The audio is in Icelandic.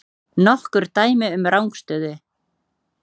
Nokkur dæmi um rangstöðu?